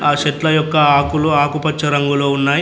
ఆ చెట్ల యొక్క ఆకులు ఆకుపచ్చ రంగులో ఉన్నాయ్.